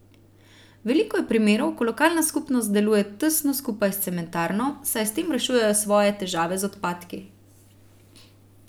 Veliko je primerov, ko lokalna skupnost deluje tesno skupaj s cementarno, saj s tem rešujejo svoje težave z odpadki.